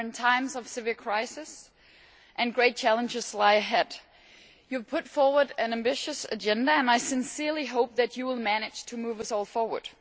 We are in a time of severe crisis and great challenges lie ahead. You have put forward an ambitious agenda and I sincerely hope that you will manage to move us all forward.